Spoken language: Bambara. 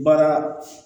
Baara